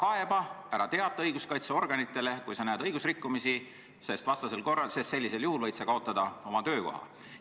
Ära kaeba, ära teata õiguskaitseorganitele, kui sa näed õigusrikkumisi, sest sellisel juhul võid sa kaotada oma töökoha.